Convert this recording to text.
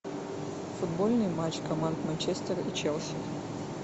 футбольный матч команд манчестер и челси